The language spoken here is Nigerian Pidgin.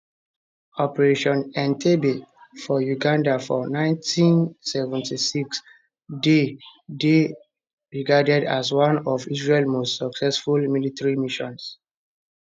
operation entebbe for uganda for 1976 dey dey regarded as one of israel most successful military missions